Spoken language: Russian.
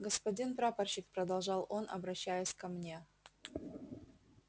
господин прапорщик продолжал он обращаясь ко мне